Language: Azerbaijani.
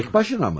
Tək başına mı?